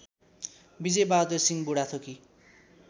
Bijay Bahadur Singh Budhathoki